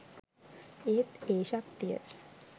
ඒත් ඒ ශක්තිය